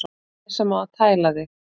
Ég sem á að tæla þig.